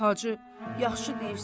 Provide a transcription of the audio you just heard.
Hacı, yaxşı deyirsən.